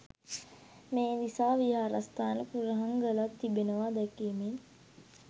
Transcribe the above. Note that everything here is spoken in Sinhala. මේ නිසා විහාරස්ථාන කුරහන් ගලක් තිබෙනවා දැකීමෙන්